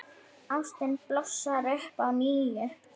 Ástin blossar upp að nýju.